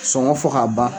Sɔngɔ fɔ ka ban